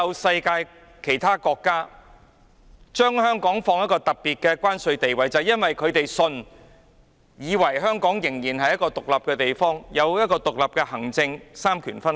世界上所有國家認同香港有特別的關貿地位，因為他們相信，香港仍然是一個獨立的地方，行政獨立，三權分立。